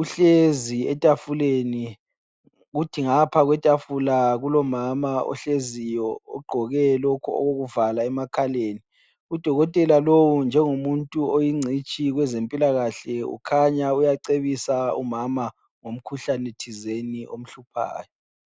Uhlezi etafuleni, kuthi ngapha kwetafula kulomama ohleziyo ogqoke lokhu okokuvala emakhaleni. Udokotela lowu njengomuntu oyingcitshi kwezempilakahle ukhanya uyacebisa umama, ngomkhuhlane thizeni omhluphayo.